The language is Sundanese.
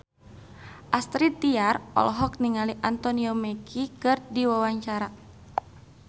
Astrid Tiar olohok ningali Anthony Mackie keur diwawancara